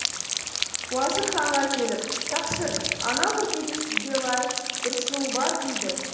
уазір ханға келіп тақсыр анау күркеде сізге лайық бір сұлу бар дейді